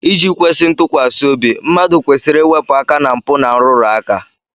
Iji kwesị ntụkwasị obi, mmadụ kwesịrị iwepu aka ná mpụ na nrụrụ aka